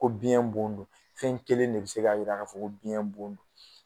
Ko biɲɛn bon don. Fɛn kelen de be se k'a yira ka fɔ ko biɲɛ bon don.